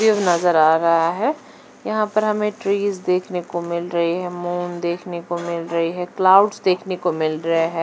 नजर आ रहा है यह पर हमें ट्रीज देखने को मिल रही है मून देखने को मिल रही है क्लाउड्स देखने को मिल रे है।